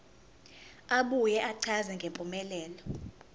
abuye achaze ngempumelelo